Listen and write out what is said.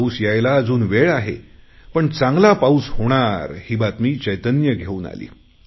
पाऊस यायला अजून वेळ आहे पण चांगला पाऊस होणार ही बातमी चैतन्य घेऊन आली